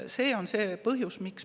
See on see põhjus.